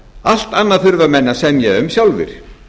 allt annað þurfa menn að semja um sjálfir